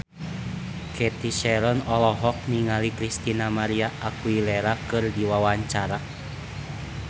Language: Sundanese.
Cathy Sharon olohok ningali Christina María Aguilera keur diwawancara